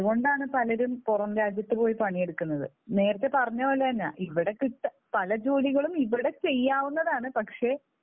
അതുകൊണ്ടാണ് പലരും പുറം രാജ്യത്ത് പോയി പണിയെടുക്കുന്നത്. നേരത്തെ പറഞ്ഞതുപോലെ തന്നാ. ഇവിടെ കിട്ടാൻ, പല ജോലികളും ഇവിടെ ചെയ്യാൻ ചെയ്യാവുന്നതാണ്. പക്ഷേ